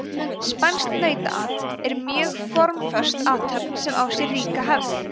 spænskt nautaat er mjög formföst athöfn sem á sér ríka hefð